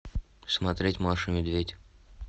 смотреть маша и медведь